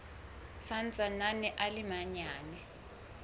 sa ntsaneng a le manyane